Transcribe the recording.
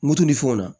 Moto ni fɛnw na